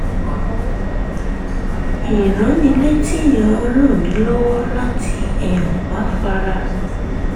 ìránnilétí yẹn ràn mí lọ́wọ́ láti um máa fara